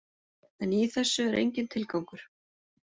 En í þessu er enginn tilgangur.